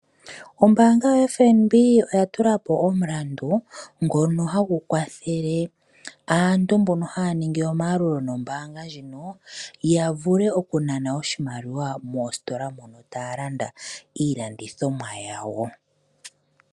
Ombaanga yaFNB oya tula po omulandu, mbono hagu kwathele aantu mbono haa ningi omayalulo nombaanga ndjoka, ya vule okunana oshimaliwa moositola mono taa landa iilandomwa yawo.